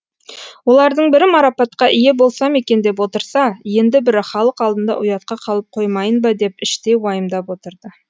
олардың бірі марапатқа ие болсам екен деп отырса енді бірі халық алдында ұятқа қалып қоймайын ба деп іштей уайымдап отырды